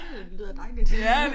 Det lyder dejligt